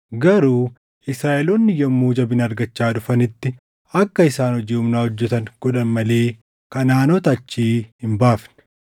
Garuu Israaʼeloonni yommuu jabina argachaa dhufanitti akka isaan hojii humnaa hojjetan godhan malee Kanaʼaanota achii hin baafne.